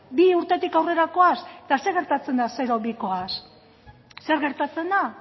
bi urtetik aurrerakoak zer gertatzen da zero bi urtekoekin